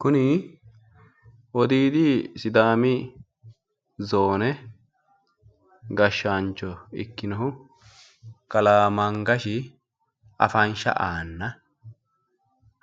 Kuni wodiidi sidaami zoone gashshaancho ikkinohu kalaa mangashi afansha aanna